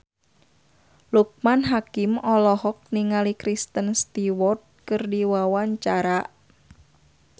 Loekman Hakim olohok ningali Kristen Stewart keur diwawancara